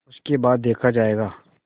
उसके बाद देखा जायगा